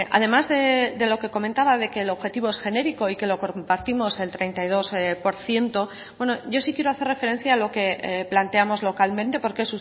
además de lo que comentaba de que el objetivo es genérico y que lo compartimos el treinta y dos por ciento yo sí quiero hacer referencia a lo que planteamos localmente porque